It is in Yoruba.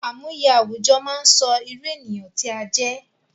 Àmúye àwùjọ máa sọ irú ènìyàn tí a jẹ́